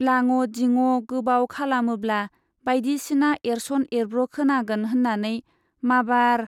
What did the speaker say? लाङ' दिङ' गोबाव खालामोब्ला बाइदिसिना एरस'न एरब्र' खोनागोन होन्नानै माबार